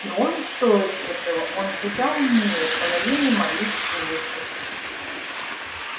и он стоит этого он куда умнее половины моих служащих